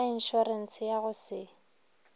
sa inšorense ya go se